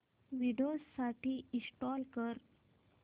Windows साठी install कर